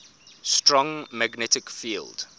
strong magnetic field